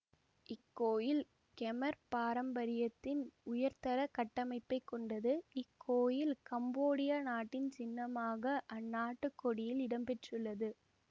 இக்கோயில் கெமர் பாரம்பரியத்தின் உயர்தர கட்டமைப்பை கொண்டது இக்கோயில் கம்போடியா நாட்டின் சின்னமாக அந்நாட்டு கொடியில் இடம்பெற்றுள்ளது